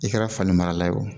I kɛra fani mara ye o